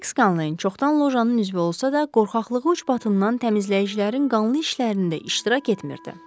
Miks Skaleyn çoxdan lojanın üzvü olsa da, qorxaqlığı üzbatından təmizləyicilərin qanlı işlərində iştirak etmirdi.